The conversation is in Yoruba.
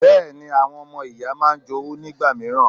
Bẹ́ẹ̀ ni, àwọn ọmọ ìyá máa ń jowú nígbà mìíràn.